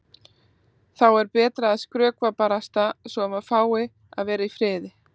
Þá er betra að skrökva barasta svo að maður fái að vera í friði.